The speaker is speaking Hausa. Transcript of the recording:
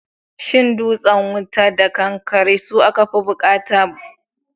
Shin dutsen wuta da kankare su aka fi bukata kasuwa a Legas a bara?